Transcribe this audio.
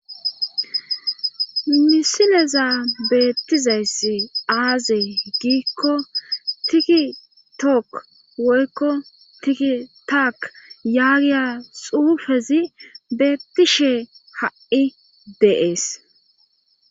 misileza beettizayssi aaze giikko tiki took woykko tiki taak yaagiya xuufezi beettishe ha7i deees